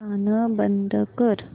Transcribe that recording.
गाणं बंद कर